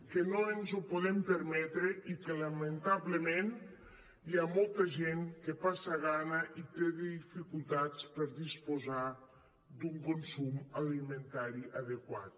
que no ens ho podem permetre i que lamentablement hi ha molta gent que passa gana i té dificultats per disposar d’un consum alimentari adequat